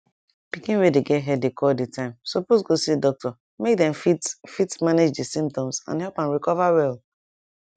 pikin wey dey get headache all di time suppose go see doctor make dem fit fit manage di symptoms and help am recover well